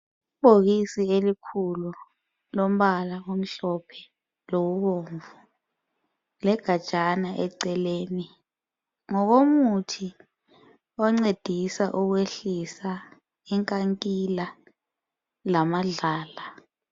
Ibhokisi elikhulu lombala omhlophe lobomvu leganjana eceleni ngokomuthi oncedisa ukwehlisa inkankila lamadlala.